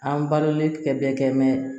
An balolen tɛ bɛɛ kɛ